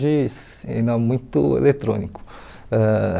Hoje ainda é muito eletrônico. Ãh